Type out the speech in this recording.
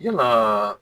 Yalaa